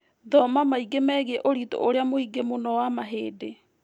Thoma maingĩ megiĩ ũritũ ũrĩa mũngĩ mũno wa mahĩndĩ